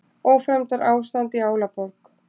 Ófremdarástand í Álaborg